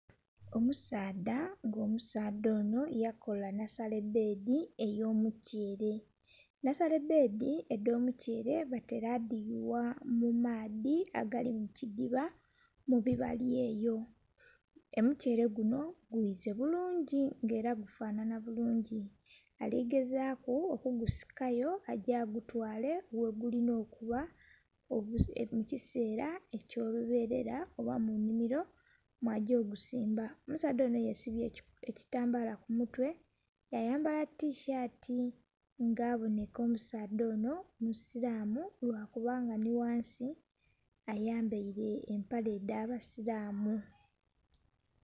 Omusaadha nga omusaadha ono yakola nhasale bbedhi eyo mukyere, nhasale bbedhi edhomukyere batera dhiyugha mumaadhi agali mukidhiba mubibali eyo. Omukyere guno gwize bulungi nga era gufanhanha bulungi, aligezaku okugusikayo age agutwale yegulina okuba mukisera ekyoluberera oba munhimiro mwagyo ogusimba. Omusaadha onho yesibye ekitambala kumutwe yayambala tishati nga aboneka omusaadha ono musiramu lwakubanga nhi ghansi ayambaire empere edhabasiramu.